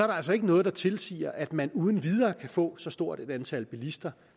der altså ikke noget der tilsiger at man uden videre kan få så stort et antal bilister